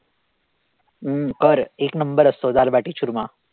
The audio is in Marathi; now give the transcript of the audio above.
अं कर एक number असतो दालबाटी चुरमा